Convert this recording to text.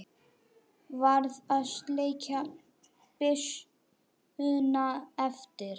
Varð að skilja byssuna eftir.